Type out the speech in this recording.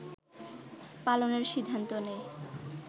পালনের সিদ্ধান্ত নেয়